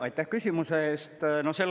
Aitäh küsimuse eest!